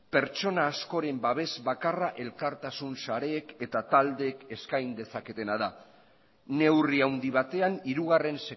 pertsona askoren babes bakarra elkartasun sareek eta taldeek eskain dezaketena da neurri handi batean hirugarren